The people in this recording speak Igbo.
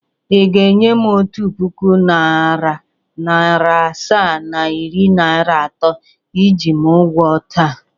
Ị ga-enye m otu puku naịra, naịra asaa na iri naịra atọ iji m n’ụgwọ taa?